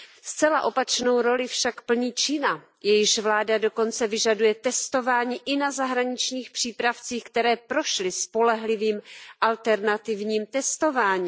Zcela opačnou roli však plní Čína, jejíž vláda dokonce vyžaduje testování i na zahraničních přípravcích, které prošly spolehlivým alternativním testováním.